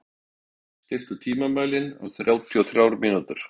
Oddmar, stilltu tímamælinn á þrjátíu og þrjár mínútur.